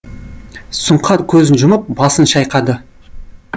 сұңқар көзін жұмып басын шайқады